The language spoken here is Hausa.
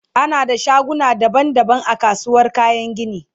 ana da shaguna daban daban a kasuwar kayan gini